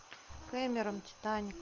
кэмерон титаник